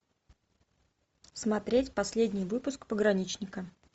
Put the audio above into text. смотреть последний выпуск пограничника